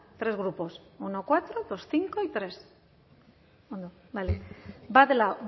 tres grupos uno cuatro dos cinco y tres ondo